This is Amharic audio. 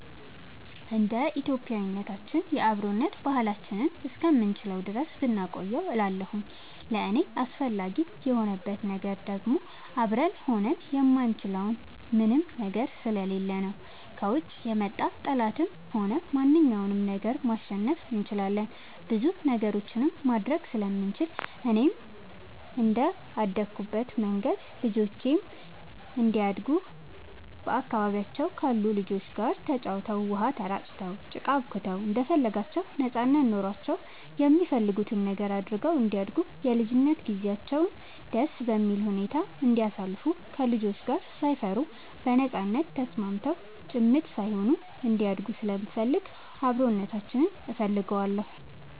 እንደ ኢትዮጵያዊነታችን የአብሮነት ባህላችንን እስከምንችለው ድረስ ብናቆየው እላለሁኝ። ለእኔ አስፈላጊ የሆንበት ነገር ደግሞ አብረን ሆነን የማንችለው ምንም ነገር ስለሌለ ነው። ከውጭ የመጣ ጠላትንም ሆነ ማንኛውንም ነገር ማሸነፍ እንችላለን ብዙ ነገሮችንም ማድረግ ስለምንችል፣ እኔም እንደአደኩበት መንገድ ልጆቼም እንዲያድጉ በአካባቢያቸው ካሉ ልጆች ጋር ተጫውተው, ውሃ ተራጭተው, ጭቃ አቡክተው እንደፈለጋቸው ነጻነት ኖሯቸው የሚፈልጉትን ነገር አድርገው እንዲያድጉ የልጅነት ጊዜያቸውን ደስ በሚል ሁኔታ እንዲያሳልፉ ከልጆች ጋር ሳይፈሩ በነጻነት ተስማምተው ጭምት ሳይሆኑ እንዲያድጉ ስለምፈልግ አብሮነታችንን እፈልገዋለሁ።